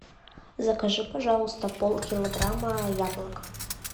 закажи пожалуйста полкилограмма яблок